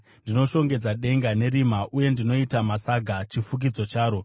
Ndinoshongedza denga nerima uye ndinoita masaga chifukidzo charo.”